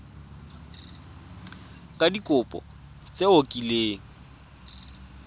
ka dikopo tse o kileng